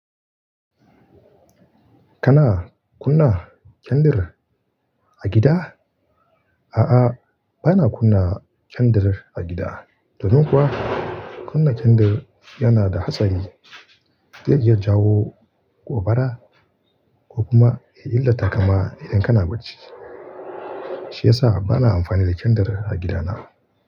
Kana kunna kyandir a gida? A'a, bana kunna kyandir a gida. Domin kuwa kunna kyandir yana da hatsari. Zai iya jawo gobara ko kuma ya illata kama idan kana bacci. Shi ya sa bana amfani da kyandir a gidana.